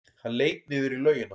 Hann leit niður í laugina.